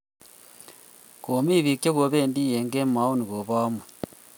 komi bik che kobendi eng kemeut nebo amut